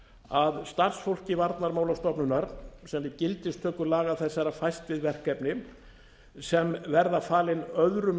að starfsfólki varnarmálastofnunar sem við gildistöku laga þessara fæst við verkefni sem verða falin öðrum